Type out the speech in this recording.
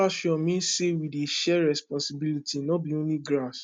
pasture mean say we dey share responsibility no be only grass